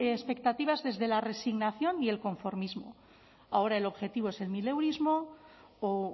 nuestras expectativas desde la resignación y el conformismo ahora el objetivo es el mileurismo o